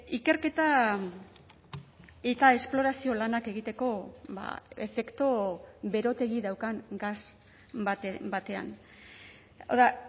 ikerketa eta esplorazio lanak egiteko efektu berotegi daukan gas batean hau da